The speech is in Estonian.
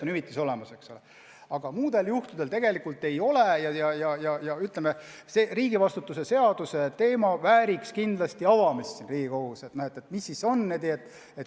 Aga muudel juhtudel hüvitist ei ole ja seepärast riigivastutuse seadus vääriks kindlasti siin Riigikogus arutelu.